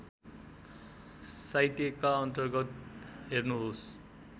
साहित्यका अन्तर्गत हेर्नुहोस्